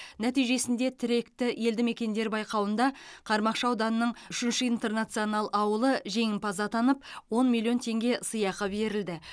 нәтижесінде тіректі елді мекендер байқауында қармақшы ауданының үшінші интернационал ауылы жеңімпаз атанып он миллион теңге сыйақы берілді